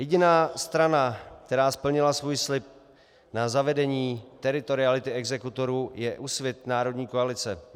Jediná strana, která splnila svůj slib na zavedení teritoriality exekutorů, je Úsvit - národní koalice.